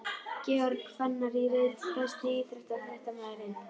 Georg Fannar í reit Besti íþróttafréttamaðurinn?